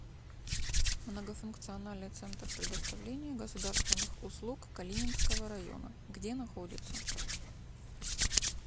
многофункциональный центр предоставления государственных услуг калининского района где находится